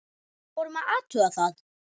Við vorum að athuga það.